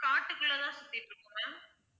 காட்டுக்குள்ள தான் சுத்திகிட்டு இருப்போம் ma'am